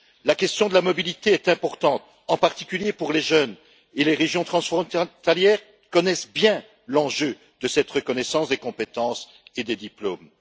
La question de la mobilité est importante, en particulier pour les jeunes et les régions transfrontalières, qui connaissent bien l'enjeu de cette reconnaissance des compétences et des diplômes.